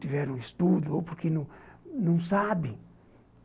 tiveram estudo ou porque não sabem.